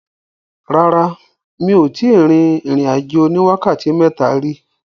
Rárá, mi ò tíì rin ìrìn-àjò oní wákàtí mẹ́ta rí.